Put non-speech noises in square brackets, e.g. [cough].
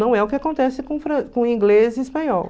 Não é o que acontece com [unintelligible] com inglês e espanhol.